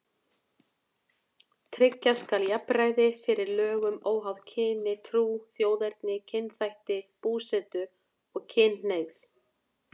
Tryggja skal jafnræði fyrir lögum óháð kyni, trú, þjóðerni, kynþætti, búsetu og kynhneigð.